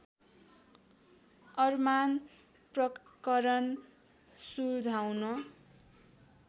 अरमान प्रकरण सुल्झाउन